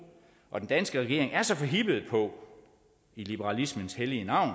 og den danske regering er så forhippet på i liberalismens hellige navn